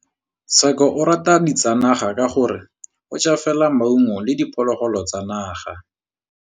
Tshekô o rata ditsanaga ka gore o ja fela maungo le diphologolo tsa naga.